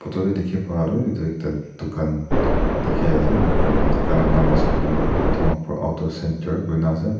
photo dae diki pa toh etu ekta tokan diki asae enaka kurina tokan laka naam asae koilae toh dimapur auto centre kuri na asae.